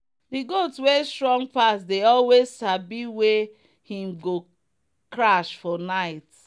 the goat wey strong pass dey always sabi wey him go crash for night.